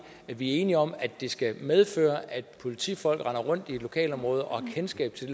at vi er enige om at det skal medføre at politifolk render rundt i et lokalområde og har kendskab til